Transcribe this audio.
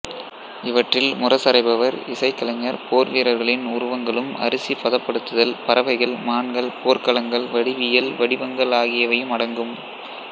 இவற்றில் முரசறைபவர் இசைக்கலைஞர் போர்வீர்ர்களின் உருவங்களும் அரிசி பதப்படுத்தல் பறவைகள்மான்கள் போர்க்கலங்கள் வடிவியல் வடிவங்கள் ஆகியவையும் அடங்கும்